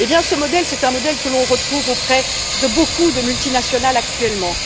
Eh bien ce modèle, c'est un modèle que l'on retrouve auprès de beaucoup de multinationales actuellement.